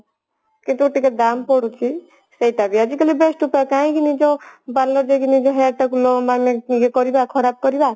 କିନ୍ତୁ ଟିକେ ଦାମ ପଡୁଛି ସେଟା ବି ଆଜିକାଲି best ଉପାୟ କାହିଁକି ନିଜ parlor ଯାଇକି ନିଜ hair ଟାକୁ କରିବା ଖରାପ କରିବା